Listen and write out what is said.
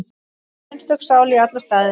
Einstök sál í alla staði.